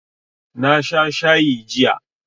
Na sha shayi jiya